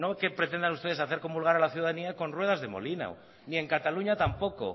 que pretendan hacer ustedes hacer comulgar a la ciudadanía con ruedas de molino ni en cataluña tampoco